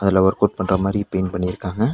அதுல work out பண்ற மாரி பெயிண்ட் பண்ணிருக்காங்க.